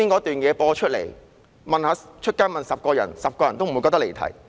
剛才播出的片段，在街上問10個人 ，10 個人也不會認為離題。